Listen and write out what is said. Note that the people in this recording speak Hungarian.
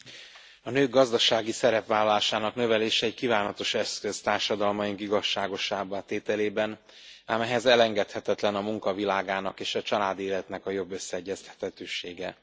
Elnök Asszony! A nők gazdasági szerepvállalásának növelése egy kívánatos eszköz társadalmaink igazságosabbá tételében, ám ehhez elengedhetetlen a munka világának és a családi életnek a jobb összeegyeztethetősége.